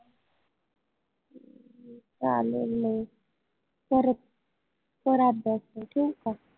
चालेल मंग परत कर अभ्यास चल ठेऊ का?